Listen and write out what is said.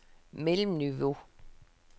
mellemniveau